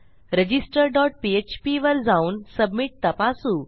register dot PHP वर जाऊन submit तपासू